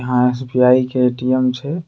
यहाँ एस.बी.आई. के ए.टी.एम. छे।